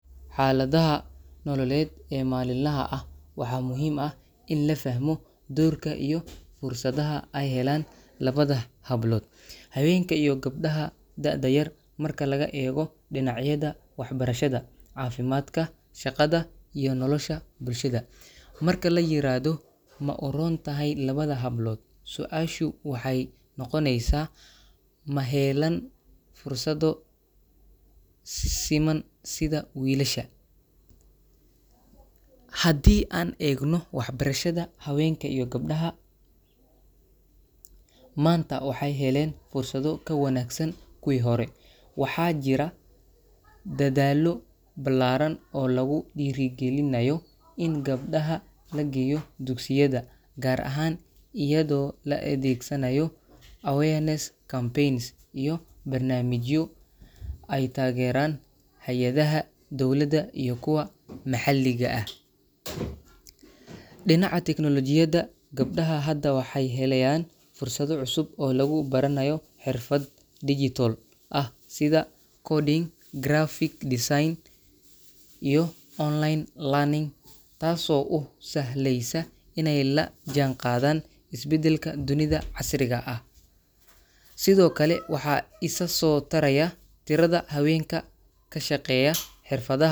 Xaaladaha nololeed ee maalinlaha ah, waxaa muhiim ah in la fahmo doorka iyo fursadaha ay helaan labada hablood – haweenka iyo gabdhaha da'da yar – marka laga eego dhinacyada waxbarashada, caafimaadka, shaqada iyo nolosha bulshada. Marka la yiraahdo “ma u roon tahay labada hablood,” su’aashu waxay noqoneysaa: ma helaan fursado siman sida wiilasha? Haddii aan eegno waxbarashada, haweenka iyo gabdhaha maanta waxay heleen fursado ka wanaagsan kuwii hore. Waxaa jira dadaallo ballaaran oo lagu dhiirrigelinayo in gabdhaha la geeyo dugsiyada, gaar ahaan iyadoo la adeegsanayo awareness campaigns iyo barnaamijyo ay taageeraan hay’adaha dowladda iyo kuwa maxalliga ah. Dhinaca teknolojiyadda, gabdhaha hadda waxay helayaan fursado cusub oo lagu baranayo xirfado digital ah sida coding, graphic design, iyo online learning, taasoo u sahlaysa inay la jaanqaadaan isbeddelka dunida casriga ah. Sidoo kale, waxaa isa soo taraya tirada haweenka ka shaqeeya xirfadaha.